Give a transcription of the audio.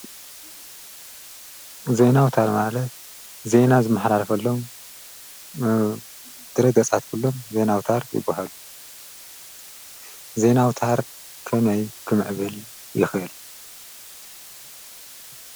ዜና ኣውታር ማለት ዜና ዝመሓላለፈሎም ድህረ ገፃት ኩሎም ዜና ኣውታር ይበሃሉ፡፡ ዜና ኣውታር ከመይ ክምዕብል ይክእል?